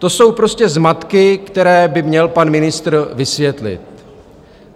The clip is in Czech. To jsou prostě zmatky, které by měl pan ministr vysvětlit.